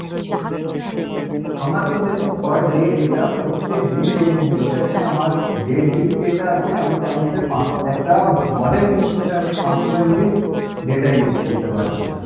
আমার তো দেখুন per day data প্রত্যেকদিন renew হয়ে যাচ্ছে আমার দেড় GB data আছে আমি তার মধ্যে একটা modem use করে আমি পাঁচশো MB data use করতে পারছি না